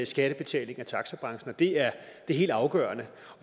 skattebetaling i taxabranchen og det er helt afgørende